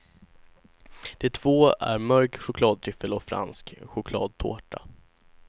De två är mörk chokladtryffel och fransk chokladtårta.